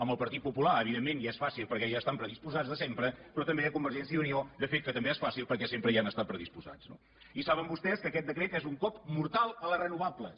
amb el partit popular evidentment ja és fàcil perquè hi estan predisposats de sempre però també a convergència i unió de fet que també és fàcil perquè sempre hi han estat predisposats no i saben vostès que aquest decret és un cop mortal a les renovables